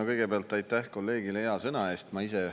No kõigepealt aitäh kolleegile hea sõna eest!